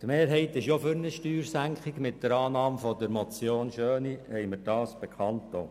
Die Mehrheit ist für eine Steuersenkung, das haben wir mit der Annahme der Motion Schöni bekannt gegeben.